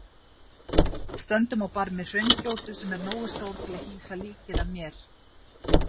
Við stöndum á barmi hraungjótu sem er nógu stór til að hýsa líkið af mér.